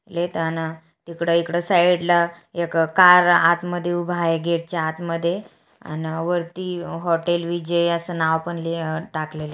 ले टना तिकड इकड साइडला एक कार आत मध्ये उभ आहे गेटच्या आत मध्ये अन वरती हॉटेल विजय अस नाव पण ली अ टाकलेल आहे.